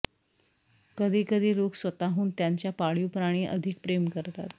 कधीकधी लोक स्वतःहून त्यांच्या पाळीव प्राणी अधिक प्रेम करतात